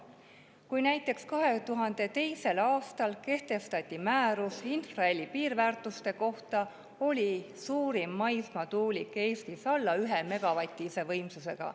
Kui näiteks 2002. aastal kehtestati määrus infraheli piirväärtuste kohta, oli suurim maismaatuulik Eestis alla 1‑megavatise võimsusega.